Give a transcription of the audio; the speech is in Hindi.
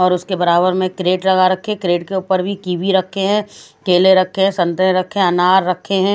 उसके बराबर में क्रेड लगा रक्खे है क्रेड के ऊपर भी टी बी रखे है केले रखे है संतरे रखे है अनार रखे है।